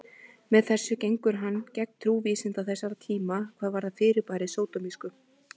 Með þessu gengur hann gegn trú vísinda þessara tíma hvað varðar fyrirbærið sódómísku.